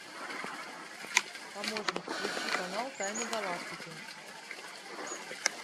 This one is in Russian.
помощник включи канал тайны галактики